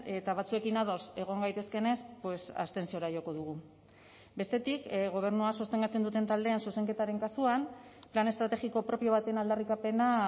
eta batzuekin ados egon gaitezkenez abstentziora joko dugu bestetik gobernua sostengatzen duten taldeen zuzenketaren kasuan plan estrategiko propio baten aldarrikapena